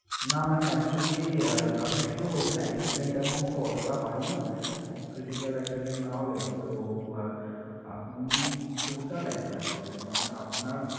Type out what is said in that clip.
না ma'am actually আপনি ঠিকই বলেছেন accident amount তো অতটা হয়না ma'am খুব critical accident না হলে তো আহ আপনি total এক লাখ পাবেন মানে আপনার